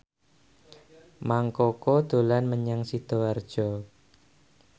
Mang Koko dolan menyang Sidoarjo